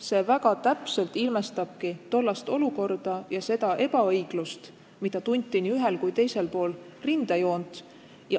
See väga täpselt ilmestabki tollast olukorda ja seda ebaõiglust, mida tunti nii ühel kui teisel pool rindejoont.